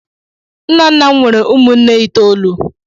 Nnanna m nwere ụmụnne itoolu.